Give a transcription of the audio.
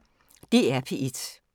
DR P1